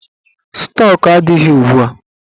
Stọk adịghị ugbua.